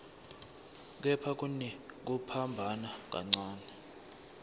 kepha kunekuphambana kancane